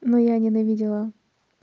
но я ненавидела